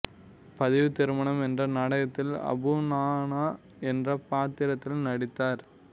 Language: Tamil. பதிவுத் திருமணம் என்ற நாடகத்தில் அபு நானா என்ற பாத்திரத்தில் நடித்தார்